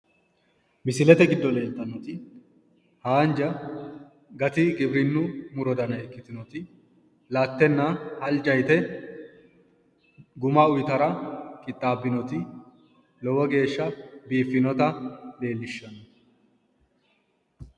Misilete giddo leeltannoti haanja gati giwirinnu muro dana ikkitinoti lattenna halja yite guma uyitara qixxaabinoti lowo geeshsha biiffinota leellishshanno.